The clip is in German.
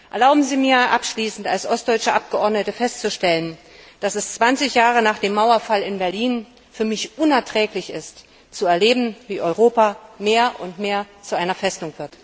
Erlauben Sie mir abschließend als ostdeutsche Abgeordnete festzustellen, dass es 20 Jahre nach dem Mauerfall in Berlin für mich unerträglich ist zu erleben, wie Europa mehr und mehr zu einer Festung wird.